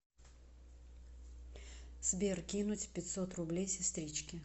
сбер кинуть пятьсот рублей сестричке